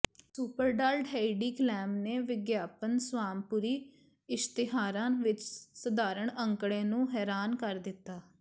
ਸੁਪਰਡਾਲਡ Heidi Klum ਨੇ ਵਿਗਿਆਪਨ ਸਵਾਮਪੁਰੀ ਇਸ਼ਤਿਹਾਰਾਂ ਵਿੱਚ ਸਧਾਰਣ ਅੰਕੜੇ ਨੂੰ ਹੈਰਾਨ ਕਰ ਦਿੱਤਾ